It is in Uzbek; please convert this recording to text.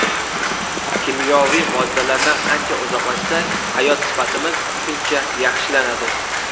Kimyoviy moddalardan qancha uzoqlashsak, hayot sifatimiz shuncha yaxshilanadi.